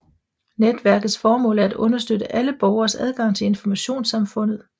Netværkets formål er at understøtte alle borgeres adgang til Informationssamfundet